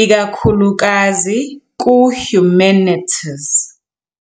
ikakhulukazi kuHumanities.